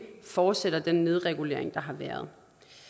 fortsætter den nedregulering der har været